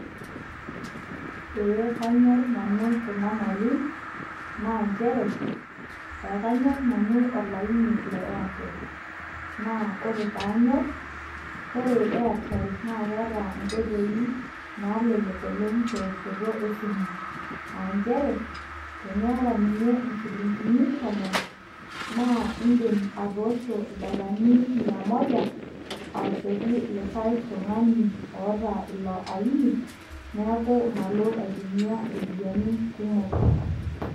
Ee kanyor nanu kuna mali naa njere, ekanyor nanu olaini le Airtel. Naa ore paanyor, ore Airtel na keeta inkoitoi nalelek oleng' tewoshoto esimu. Ah njere, teniata ninye inchilinkini tomon, na iidim atoosho ildaikani mia moja, awoshoki likae tung'ani oata ilo aini, neeku malo aitumia iropiyiani kumok.